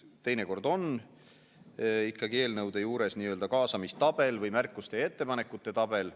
Teinekord on ikkagi eelnõude juures nii-öelda kaasamistabel või märkuste ja ettepanekute tabel.